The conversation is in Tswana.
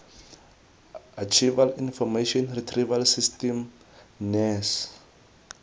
archival information retrieval system naairs